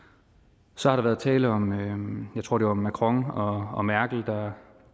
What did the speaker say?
så har der været tale om jeg tror det var macron og og merkel